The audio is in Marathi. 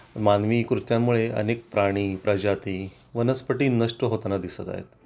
मानवी कृत्या मुळे अनेक प्राणी, प्रजाती, वनस्पती नष्ट होताना दिसत आहेत